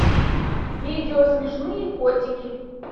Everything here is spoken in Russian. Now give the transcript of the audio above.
видео смешные котики